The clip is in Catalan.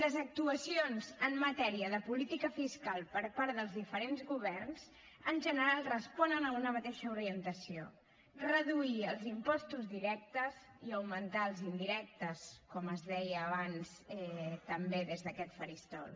les actuacions en matèria de política fiscal per part dels diferents governs en general responen a una mateixa orientació reduir els impostos directes i augmentar els indirectes com es deia abans també des d’aquest faristol